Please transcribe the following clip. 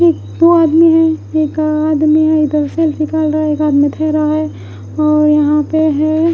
एक वो आदमी है एक आदमी है इधर सेल्फी निकल रहा है एक आदमी थह रहा है और यहाँ पे है।